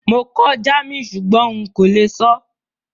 Mo kọ́ German súgbón n kó le sọ́